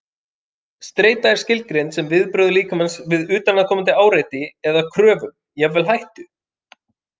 Streita er skilgreind sem viðbrögð líkamans við utanaðkomandi áreiti eða kröfum, jafnvel hættu.